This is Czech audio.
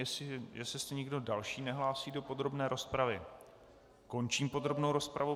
Jestli se nikdo další nehlásí do podrobné rozpravy, končím podrobnou rozpravu.